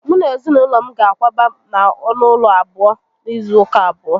Mu na ezinaulo m ga-akwaba na onu ulo abuo n'izu uka abuo